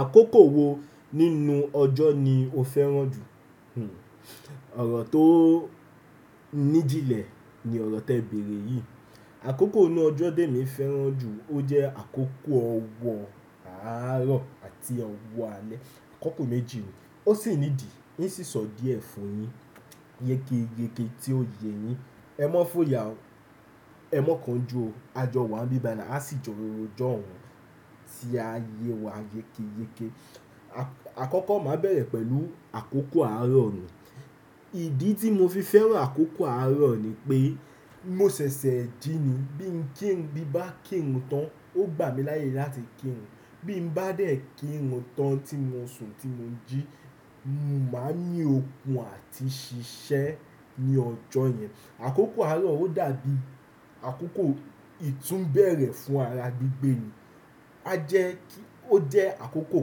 Àkókò wo nínú ọjọ́ ni o fẹ́ràn jù? Ọ̀rọ̀ tó níjìnlẹ̀ ni ọ̀rọ̀ tẹ bẹ̀rẹ̀ yìí. Àkókò inú ọjọ́ tí èmi ń fẹ́ràn jù, ó jẹ́ àkókò ọwọ́ àárọ̀ àti ọwọ́ alẹ́, àkókò méjì yìí. Ó sì nídìí, ń ṣì sọ díẹ̀ fún un yín, yékéyéké tí ó yẹ yín. Ẹ mọ̀ fún ìyà ó, ẹ mọ̀ kánjú ó, a jọ wà níbi bayii, a sì jọ ró jọ́hun tí a yẹ wá yékéyéké. Àkọ́kọ́ màá bẹ̀rẹ̀ pẹ̀lú àkókò àárọ̀ mì. Ìdí tí mo fi fẹ́ràn àkókò àárọ̀ ni pé, mo ṣẹ̀ṣẹ̀ jí ni, bí ń kí ń bí bá kírun tán, ó gbà mí láyè láti kírun. Bí mo bá dẹ̀ kírun tán tí mo ń sùn, tí mo ń jí, mo máa ń ní okun àti ṣiṣẹ́ ní ọjọ́ yẹn. Àkókò àárọ̀ ó dàbí àkókò ìtúnbẹ̀rẹ̀ fún ara gbígbẹ́ ni. A jẹ́ kí, ó jẹ́ àkókò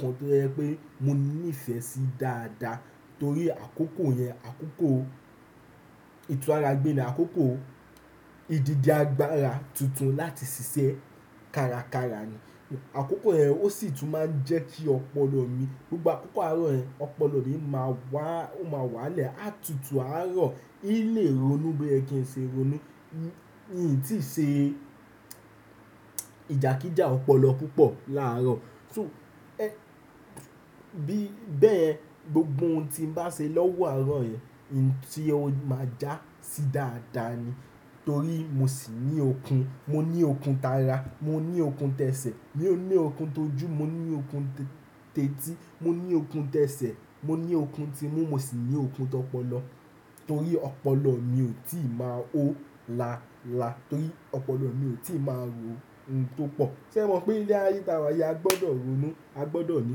kan tó jẹ pé mo ní ìfẹ́ sí dáadáa torí àkókò yẹn, àkókò ìtú ara gbé ni, àkókò ìdíje agbára tuntun láti ṣiṣẹ́ kára kára ni. Àkókò yẹn ó sì tún máa ń jẹ́ kí ọpọlọ mi, nígbà àkókò àárọ̀ yẹn, ọpọlọ mi máa wà, ó máa wálẹ̀, a tutù àárọ̀, yí lè ronú bí ẹ kín ṣe ronú, yìí tí ṣe ìjà kíjà ọpọlọ púpọ̀ láàárọ̀. So, ẹ́, bí bẹ́ẹ̀, gbogbo ohun tí mo bá ṣe lọ́wọ́ àárọ̀ yẹn, yìí tí ó máa já sí dáadáa ni. Torí mo sì ní okun, mo ní okun tara, mo ní okun tẹ́ṣẹ̀, mo ní okun tojú, mo ní okun tètí, mo ní okun tẹ́ṣẹ̀, mo ní okun timú, mo sì ní okun tọpọlọ. Torí ọpọlọ mi ò tí ì máa hó laalaa, torí ọpọlọ mi ò tí ì máa rò ohun tó pọ̀. Sẹ́ mo pé ilé ayé tí a wá yìí, a gbọdọ̀ ronú, a gbọdọ̀ ní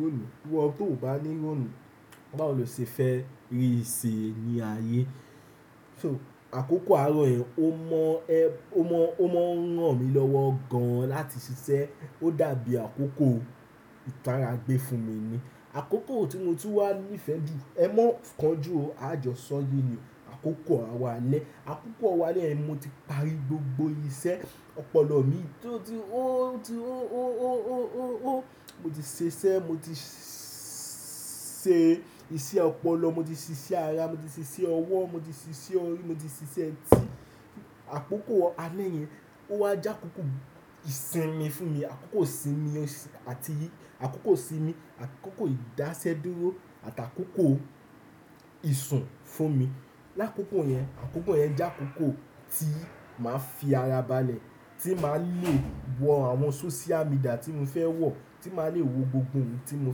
ronú. Wọ́n tó ò bá ní ronú, báwo lo ṣe fẹ́ rí ìṣe ní ayé? So, àkókò àárọ̀ yẹn ó mọ ẹ, ó mọ, ó mọ ń ràn mí lọ́wọ́ gan-an láti ṣiṣẹ́. Ó dàbí àkókò ìtara gbé fún mi ni. Àkókò tí mo tú wá nífẹ̀ẹ́ jù, ẹ mọ̀ kánjú ó, a jọ sọ yee ni, àkókò owò alẹ́. Àkókò owọ̀ alẹ́ ni mo ti parí gbogbo iṣẹ́ ọpọlọ mi tó ti hó, tó ti hó, hó, hó, hó, hó, hó. Mo ti ṣiṣẹ́, mo ti ṣe iṣẹ́ ọpọlọ, mo ti ṣiṣẹ́ ara, mo ti ṣiṣẹ́ ọwọ́, mo ti ṣiṣẹ́ orí, mo ti ṣiṣẹ́ ẹtì. Àkókò alẹ́ yẹn ó wá já àkókò ìsinmi fún mi, àkókò ìsinmi àti àkókò ìdásẹ́dúró àti àkókò ìsùn fún mi. Lákòókò yẹn, àkókò yẹn jẹ́ àkókò tí màá fi ara balẹ̀, tí màá le wọ àwọn sóṣíà midìà tí mo fẹ́ wọ̀, tí màá le wo gbogbo ohun tí mo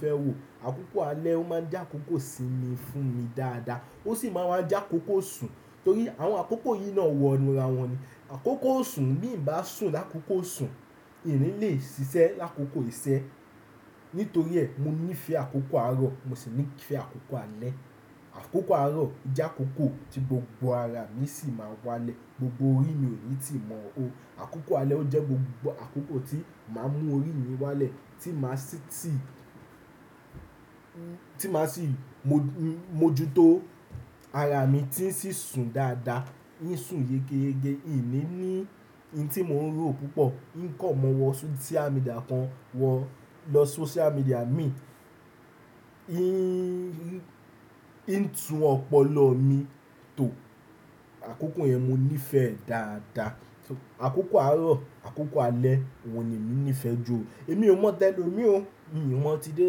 fẹ́ wò. Àkókò alẹ́ ó máa ń jẹ́ àkókò ìsinmi fún mi dáadáa. Ó sì máa ń wá já àkókò ìsùn. Torí àwọn àkókò yìí náà wọnúra wọn ni. Àkókò isùn, bí ń bá sùn lákókò isùn, ìní lè ṣiṣẹ́ lákókò ìṣẹ́. Nítorí ẹ, mo ní ìfẹ́ àkókò àárọ̀, mo sì ní ìfẹ́ àkókò alẹ́. Àkókò àárọ̀ jẹ́ àkókò tí gbogbo ara mi sì máa wálẹ̀, gbogbo orí mi ò ní tì í mọ́ hó. Àkókò alẹ́ ó jẹ́ gbogbo àkókò tí màá mú orí mi wálẹ̀, tí màá sì tí, tí màá sì mójú tó ara mi tí ń ṣí sùn dáadáa, ń sùn yékéyéké, ìní ní ohun tí mò ń rò púpọ̀, ń kàn mọ́wọ́ sóṣíà midìà kan wọ, lọ sóṣíà midìà mi, ń, ń tún ọpọlọ mi tó. Àkókò yẹn mo ní ìfẹ́ dáadáa. So, àkókò àárọ̀, àkókò alẹ́, wọn ni èmi ní ìfẹ́ jù. Èmi ò mọ̀ tẹ lo mi ò. Èmi ò mọ̀ ti dé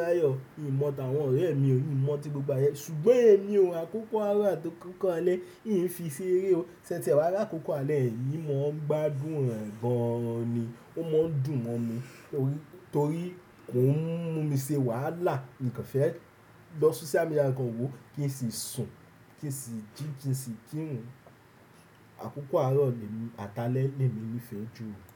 láyọ̀. Èmi ò mọ̀ àwọn ọ̀rẹ́ mi ò. Èmi ò mọ̀ ti gbogbo ayé. Ṣùgbọ́n èmi ò, àkókò àárọ̀ àti àkókò alẹ́, ì ń fi sí eré o. Sẹ́ tíẹ wá rí àkókò alẹ́ yèn, ń mo gbádùn rẹ̀ gan-an ni. Ó mọ́ dùn mọ́ mi torí, torí kò ń mú mi ṣe wàhálà. Nìkan fẹ́ lọ sóṣíà midìà kan wo kí n sì sùn, kí n sì jí, kí n sì kírun. Àkókò àárọ̀ ni èmi àtàlẹ́ ni èmi ní ìfẹ́ jù.